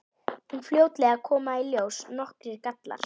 En fljótlega koma í ljós nokkrir gallar.